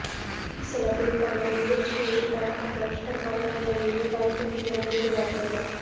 சில பேர் தங்கள் முயற்சியில் தொடக்க நஷ்டம் வந்தவுடனேயே பயந்து பின்வாங்கி விடுவார்கள்